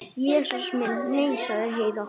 Jesús minn, nei, sagði Heiða.